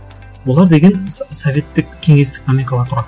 олар деген советтік кеңестік номенклатура